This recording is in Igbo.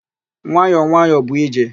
Nwayọ nwayọ bụ ije.